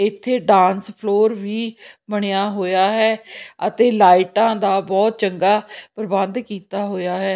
ਇੱਥੇ dance floor ਵੀ ਬਣਿਆ ਹੋਇਆ ਹੈ ਅਤੇ ਲਾਈਟਾਂ ਦਾ ਬਹੁਤ ਚੰਗਾ ਪ੍ਰਬੰਧ ਕੀਤਾ ਹੋਇਆ ਹੈ।